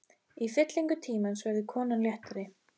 Í fyllingu tímans verður konan léttari.